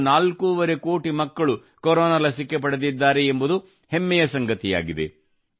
ಸುಮಾರು ನಾಲ್ಕುವರೆ ಕೋಟಿ ಮಕ್ಕಳು ಕೊರೊನಾ ಲಸಿಕೆ ಪಡೆದಿದ್ದಾರೆ ಎಂಬುದು ಹೆಮ್ಮೆಯ ಸಂಗತಿಯಾಗಿದೆ